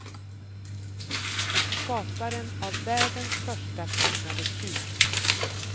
Skaparen av världens första klonade tjur.